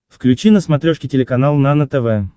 включи на смотрешке телеканал нано тв